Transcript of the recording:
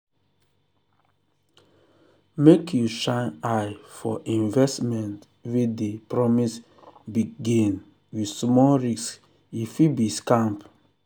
make you shine eye for investment wey dey promise big gain with small risk e fit be scam.